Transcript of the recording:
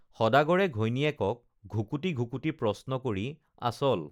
সদাগৰে ঘৈণীয়েকক ঘুকুটি ঘুকুটি প্ৰশ্ন কৰি আচল